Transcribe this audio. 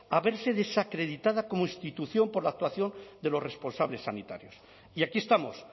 a verse desacreditada como institución por la actuación de los responsables sanitarios y aquí estamos